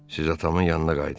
Siz atamın yanına qayıdın.